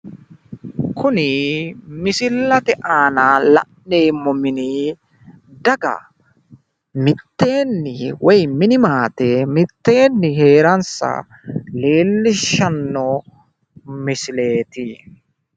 Kuni misillate aana la'neemmo mini daga mitteenni woy mini maate mitteenni hee'ransa leellishshanno misileeti.